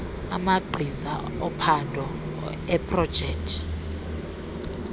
amagqiza ophando eeprojekthi